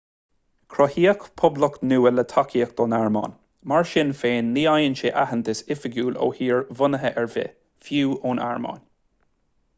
cruthaíodh poblacht nua le tacaíocht ón airméin mar sin féin ní fhaigheann sé aitheantas oifigiúil ó thír bhunaithe ar bith fiú ón airméin